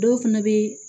Dɔw fana bɛ